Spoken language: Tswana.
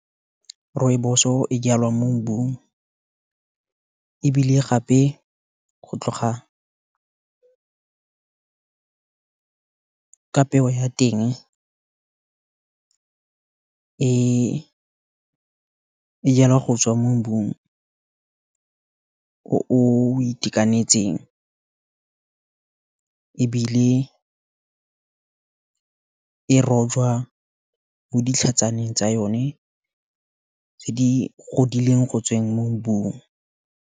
Rooibos-o, e jalwang mo mbung, ebile gape, go tloga ka peo ya teng, e jalwa go tswa mo mbung o itekanetseng, ebile e rojwa mo ditlhatsaneng tsa yone, tse di godileng go tswa mo mbung.